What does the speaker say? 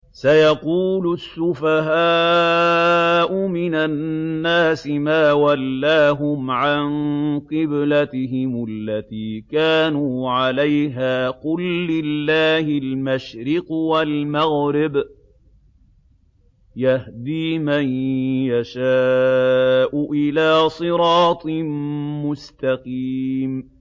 ۞ سَيَقُولُ السُّفَهَاءُ مِنَ النَّاسِ مَا وَلَّاهُمْ عَن قِبْلَتِهِمُ الَّتِي كَانُوا عَلَيْهَا ۚ قُل لِّلَّهِ الْمَشْرِقُ وَالْمَغْرِبُ ۚ يَهْدِي مَن يَشَاءُ إِلَىٰ صِرَاطٍ مُّسْتَقِيمٍ